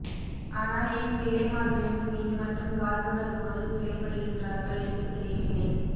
ஆனால் ஏன் பிள்ளைமார்களின் மீது மட்டும் காழ்ப்புணர்வோடு செயல்படுகின்றார்கள் என்று தெரியவில்லை